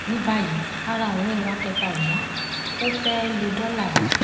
ní báyìí ara ọrẹ wa kẹta ó yá ọ fẹẹ lọ dọlà ẹ